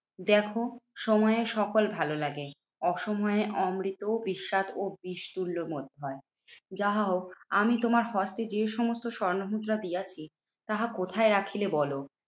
দ্যাখো সময়ে সকল ভালো লাগে অসময়ে অমৃতও বিস্বাদ ও বিষ তুল্য মনে হয়। যাহাও আমি তোমার হস্তে যে সমস্ত স্বর্ণমুদ্রা দিয়াছি, তাহা কোথায় রাখিলে বলো?